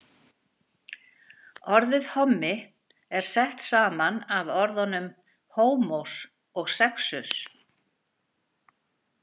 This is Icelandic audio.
Orðið hommi er sett saman af orðnum homós og sexus.